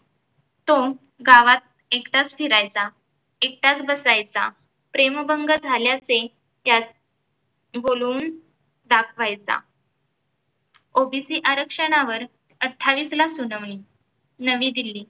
तो गावात एकटाच फिरायचा, एकटाच बसायचा. प्रेमभंग झाल्याचे त्यात बोलवून. दाखवायचा OBC आरक्षणावर अठ्ठावीसला सुनावणी, नवी दिल्ली.